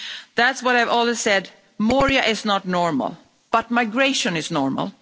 That's what I have always said Moria is not normal but migration is normal.